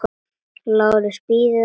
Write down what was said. LÁRUS: Bíðið aðeins!